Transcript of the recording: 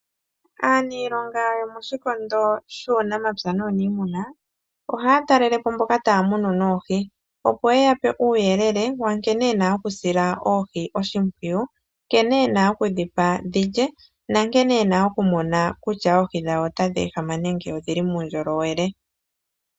Aaniilonga yomoshikondo shuunamapya nuuniimuna ohaya talele po mboka taya munu oohi opo yeya pe uuyelele wa nkene yena okusila oohi oshimpwiyu, nkene yena okudhi pa dhilye na nkene yena okumona kutya oohi dhayo otadhi ehama nenge odhili muundjolowele.